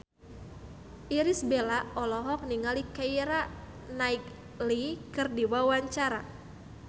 Irish Bella olohok ningali Keira Knightley keur diwawancara